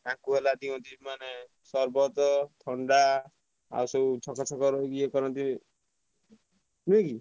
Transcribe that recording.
ତାଙ୍କୁ ହେଲା ଦିଅନ୍ତି ମାନେ ସରବତ ଥଣ୍ଡା ଆଉସବୁ ଇଏ କରନ୍ତି ନୁହେଁକି?